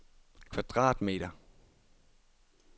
kvadratmeter